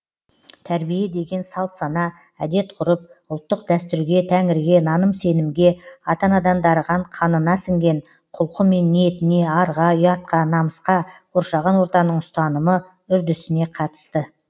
тәрбие деген салт сана әдет ғұрып ұлттық дәстүрге тәңірге наным сенімге ата анадан дарыған қанына сіңген құлқы мен ниетіне арға ұятқа намысқа қоршаған ортаның ұстанымы үрдісіне қатысты